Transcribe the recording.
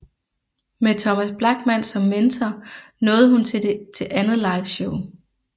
Med Thomas Blachman som mentor nåede hun til andet liveshow